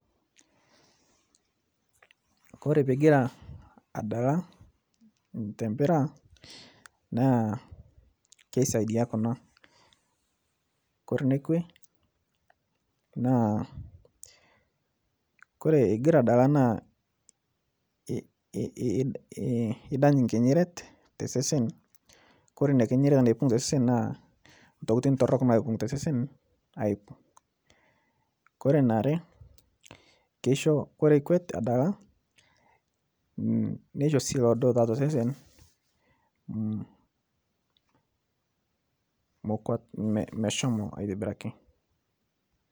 Ore pee egira adala empira naa kisaidia te kuna; ore ene kwe naa, ore egira adala naa kipang enkinyinyiret tosesen naa teneipang, naa ntokitin torrok naipang. Ore eniare ore iikuet adala neisho osarge tosesen meshomo aitobiraki.